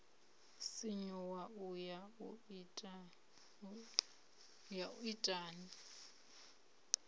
sinyuwa u ya u itani